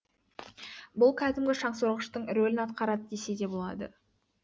бұл кәдімгі шаңсорғыштың рөлін атқарады десе де болады